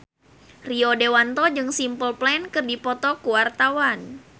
Rio Dewanto jeung Simple Plan keur dipoto ku wartawan